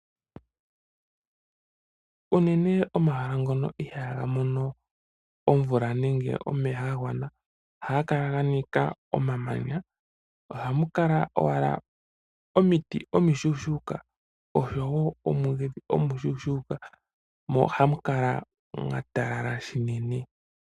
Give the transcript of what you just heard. Unene omahala ngono ihaaga mono omvula nenge omeya gagwana oha ga kala ganika omamanya ohamukala owala omiti omishuushuuka oshowo omwiidhi omishuushuuka mo ohamu kala mwatalala shinene.